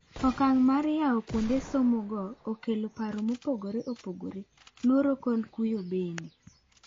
Okang' mar yawo kuonde some go okelo paro mopogore opogore ,luoro kod kuyo bende.